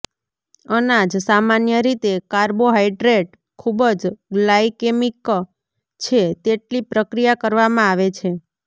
અનાજ સામાન્ય રીતે કાર્બોહાઈડ્રેટ ખૂબ જ ગ્લાયકેમિક છે તેટલી પ્રક્રિયા કરવામાં આવે છે